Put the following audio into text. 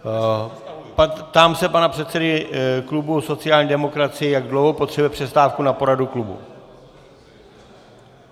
Ptám se pana předsedy klubu sociální demokracie, jak dlouho potřebuje přestávku na poradu klubu.